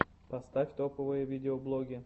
поставь топовые видеоблоги